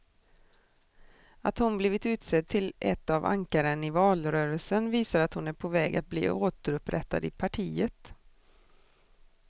Att hon blivit utsedd till ett av ankaren i valrörelsen visar att hon är på väg att bli återupprättad i partiet.